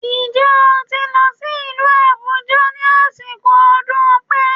Ǹjẹ́ o ti lọ sí ìlú Àbújá ní àsìkò ọdún Ọ̀pẹ